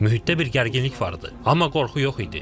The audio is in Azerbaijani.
Mühitdə bir gərginlik var idi, amma qorxu yox idi.